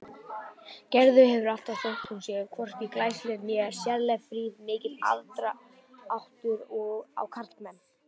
Gerður hefur alltaf, þótt hún sé hvorki glæsileg né sérlega fríð, mikið aðdráttarafl á karlmenn.